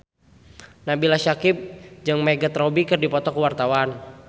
Nabila Syakieb jeung Margot Robbie keur dipoto ku wartawan